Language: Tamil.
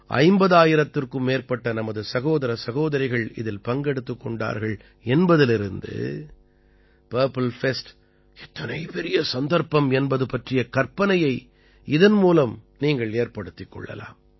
50000த்திற்கும் மேற்பட்ட நமது சகோதர சகோதரிகள் இதில் பங்கெடுத்துக் கொண்டார்கள் என்பதிலிருந்து பர்ப்பிள் ஃபெஸ்ட் எத்தனை பெரிய சந்தர்ப்பம் என்பது பற்றிய கற்பனையை இதன் மூலம் நீங்கள் ஏற்படுத்திக் கொள்ளலாம்